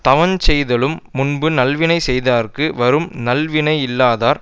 தவஞ்செய்தலும் முன்பு நல்வினை செய்தார்க்கு வரும் அந்நல்வினையில்லாதார்